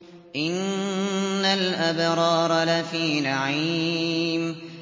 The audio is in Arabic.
إِنَّ الْأَبْرَارَ لَفِي نَعِيمٍ